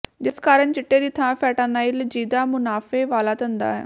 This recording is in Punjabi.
ਜਿਸ ਕਾਰਨ ਚਿੱਟੇ ਦੀ ਥਾਂ ਫ਼ੈਂਟਾਨਾਈਲ ਜੀਆਦਾ ਮੁਨਾਫ਼ੇ ਵਾਲਾ ਧੰਦਾ ਹੈ